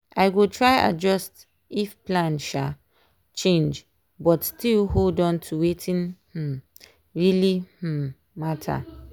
i go try adjust if plan um change but still hold on to wetin um really um matter.